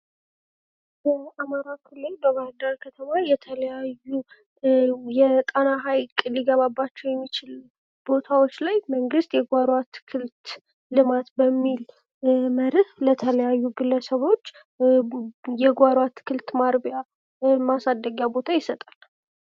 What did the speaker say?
በአማራ ክልል በባህርዳር ከተማ የተለያዩ የጣና ሀይቅ ሊገባባቸው የሚችል ቦታዎች ላይ መንግስት የጓሮ አትክልት በሚል መርህ ለተለያዩ ግለሰቦች የጓሮ አትክልት ማርቢያ ማሳደጊያ ቦታ ይሰጣል።